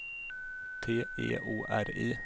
T E O R I